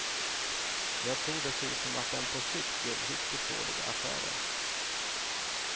Jag tror dessutom att den på sikt gör riktigt dåliga affärer.